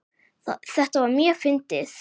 Þetta var mjög fyndið.